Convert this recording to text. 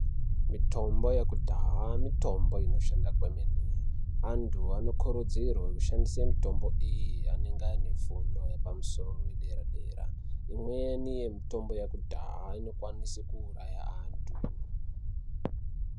Mitombo yekudhaya mitombo inoshanda kwemene. Antu anokurudzirwe kushandisa mitombo iyi ange ane fundo yepamusoro yedera-dera, imweni yemitombo yakudhaya inokwanise kuuraya antu.